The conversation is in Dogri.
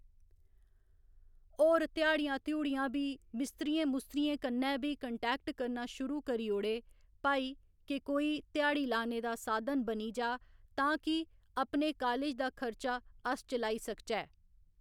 होर ध्याड़ियां धयूड़ियां बी मिस्तरियें मुस्तरियें कन्नै बी कंटैक्ट करना शुरू करी ओड़े भई कि कोई ध्याड़ी लाने दा साधन बनी जा तां कि अपने कालज दा खर्चा अस चलाई सकचै।